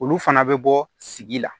Olu fana bɛ bɔ sigi la